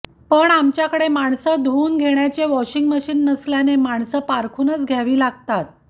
पण आमच्याकडे माणसं धुवून घेण्याचे वॉशिंग मशीन नसल्याने माणसं पारखूनच घ्यावी लागतात